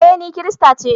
Eh, ni kirista ce.